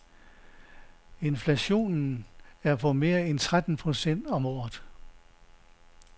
Inflationen er på mere end tretten procent om året.